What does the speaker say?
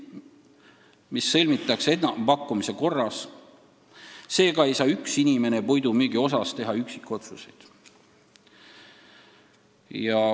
Need sõlmitakse enampakkumise korras, seega ei saa üks inimene puidumüügi kohta üksikotsuseid teha.